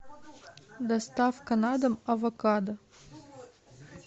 доставка на дом авокадо